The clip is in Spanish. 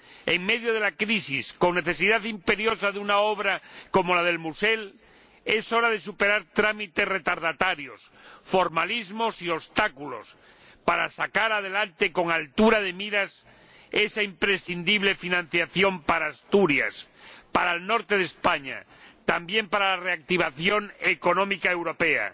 En medio de la crisis, con necesidad imperiosa de una obra como la de El Musel, es hora de superar trámites dilatorios, formalismos y obstáculos para sacar adelante con altura de miras esa financiación, imprescindible para Asturias, para el norte de España y, también, para la reactivación económica europea.